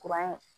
Kuran